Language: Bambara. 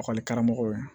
Ekɔlikaramɔgɔ ye